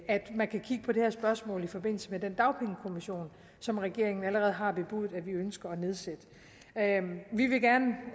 at man kan kigge på det her spørgsmål i forbindelse med den dagpengekommission som regeringen allerede har bebudet at vi ønsker at nedsætte vi vil gerne